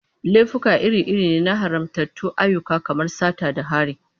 Laifuka iri-iri ne na haramtattun ayyuka kamar sata da hari.